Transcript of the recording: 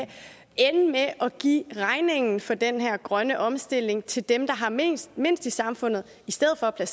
ende med at give regningen for den her grønne omstilling til dem der har mindst mindst i samfundet i stedet for at